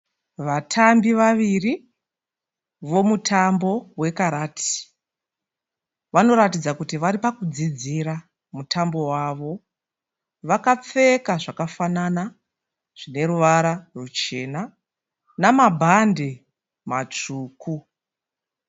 Vatambi vaviri vemutambo wekarati. Vanoratidza kuti varipakudzidzira mutambo wavo. Vakapfeka zvakafanana zvineruvara rwuchena. Namabhadhi aneruvara rwutsvuku.